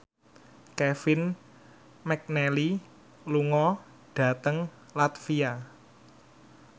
Kevin McNally lunga dhateng latvia